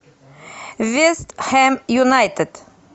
вест хэм юнайтед